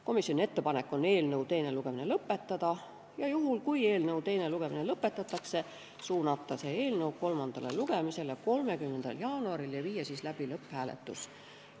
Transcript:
Komisjoni ettepanek on eelnõu teine lugemine lõpetada ja kui eelnõu teine lugemine lõpetatakse, on meil ettepanek suunata see eelnõu kolmandale lugemisele 30. jaanuariks ja viia siis läbi lõpphääletus.